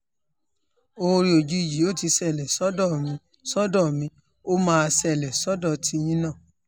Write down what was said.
oore òjijì ò ti ṣẹlẹ̀ sọ́dọ̀ mi sọ́dọ̀ mi o ó máa ṣẹlẹ̀ sọ́dọ̀ tiyín náà